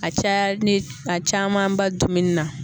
A caya ni a camanba bɛ dumuni na